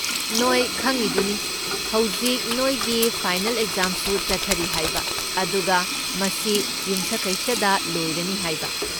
ꯅꯣꯏ ꯈꯪꯢꯗꯨꯅꯤ ꯍꯧꯖꯤꯛ ꯅꯣꯏꯒꯤ ꯐꯥꯏꯅꯦꯜ ꯑꯦꯛꯖꯥꯝꯁꯨ ꯆꯠꯊꯔꯤ ꯍꯥꯏꯕ ꯑꯗꯨꯒ ꯃꯁꯤ ꯌꯨꯝꯁꯀꯩꯁꯗ ꯂꯣꯏꯔꯅꯤ ꯍꯥꯏꯕ꯫